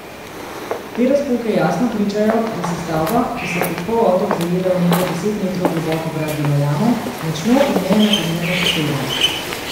Te razpoke jasno pričajo, da se stavba, ki se kot polotok zajeda v nekaj deset metrov globoko gradbeno jamo, močno in neenakomerno poseda.